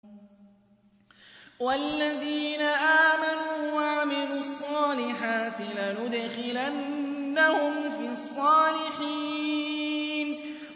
وَالَّذِينَ آمَنُوا وَعَمِلُوا الصَّالِحَاتِ لَنُدْخِلَنَّهُمْ فِي الصَّالِحِينَ